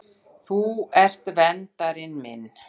Þú ert verndari minn.